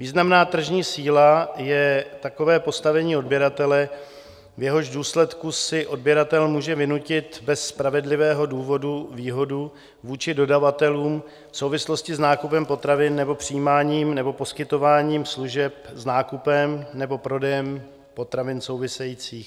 Významná tržní síla je takové postavení odběratele, v jehož důsledku si odběratel může vynutit bez spravedlivého důvodu výhodu vůči dodavatelům v souvislosti s nákupem potravin nebo přijímáním nebo poskytováním služeb s nákupem nebo prodejem potravin souvisejících.